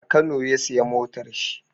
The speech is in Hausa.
A kano ya sayi motar shi.